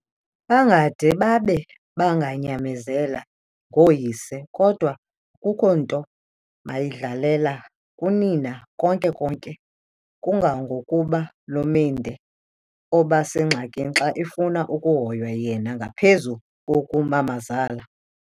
Bangade babe banganyamezela ngooyise, kodwa akukho nto mayidlalela kunina konke-konke, kungangokuba loMendi obasengxakini xa efuna ukuhoywa yena ngaphezu koku mamazala.